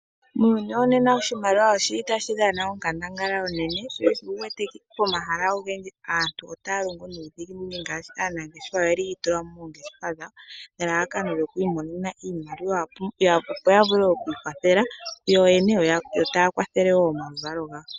Muuyuni wonena oshimaliwa oshi li tashi dhana onkandangala onene, sho osho wu wete pomahala ogendji aantu otaa longo nuudhiginini ngaashi aanangeshefa oyeli yi tula mo moongeshefa dhawo nelalakano lyoku imonena iimaliwa opo ya vule oku ikwathela yo yene, yo taa kwathele wo omaluvalo gawo.